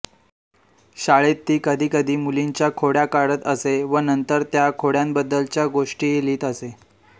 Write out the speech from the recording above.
शाळेत ती कधीकधी मुलींच्या खोड्या काढत असे व नंतर त्या खोड्यांबद्दलच्या गोष्टीही लिहित असे